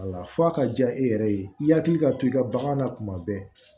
Wala f'a ka diya e yɛrɛ ye i yakili ka to i ka bagan na kuma bɛɛ